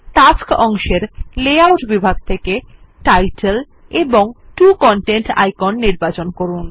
tasks অংশের layout বিভাগ থেকে টাইটেল এবং 2 কনটেন্ট আইকন নির্বাচন করুন